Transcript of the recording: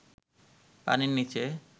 পানির নিচে